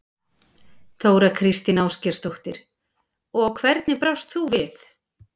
Þóra Kristín Ásgeirsdóttir: Og hvernig brást þú við?